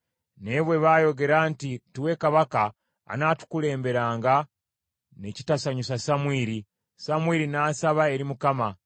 Naye bwe baayogera nti, “Tuwe kabaka anaatukulemberanga,” ne kitasanyusa Samwiri. Samwiri n’asaba eri Mukama .